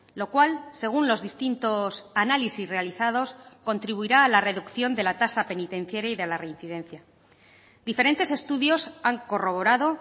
lo cual según los distintos análisis realizados contribuirá a la reducción de la tasa penitenciaria y de la reincidencia diferentes estudios han corroborado